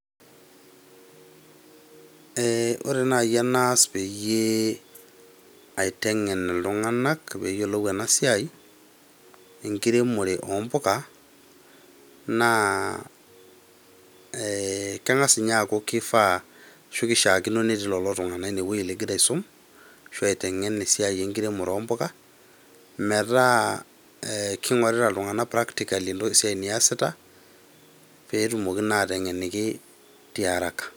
Eh ore nai enaas peyie aiteng'en iltung'anak peyiolou enasiai, enkiremore ompuka, naa kang'as inye aku kifaa ashu nishaakino netii lolo tung'anak inewei ligira aisum, ashu aiteng'en esiai enkiremore ompuka, metaa king'orita iltung'anak practically entoki esiai niasita, petumoki naa aiteng'eniki tiaraka.